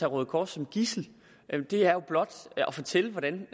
røde kors som gidsel det er blot at fortælle hvordan